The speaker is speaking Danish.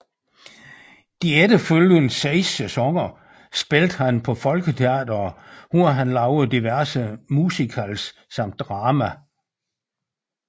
De efterfølgende seks sæsoner spillede han på Folketeatret hvor han lavede diverse musicals samt drama